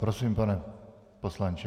Prosím, pane poslanče.